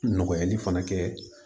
Nɔgɔyali fana kɛ